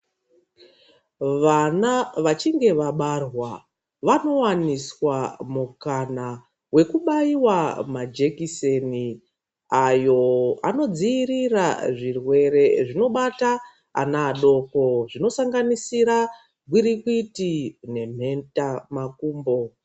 Vana vachinge vabarwa vanowaniswa mukana wekubaiwa majekiseni ayo anodziirira zvirwere zvinobata ana adoko zvinosanganisira gwirikwiti nemheta makumbo.